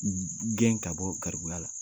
Gɛn ka bɔ garibuya la.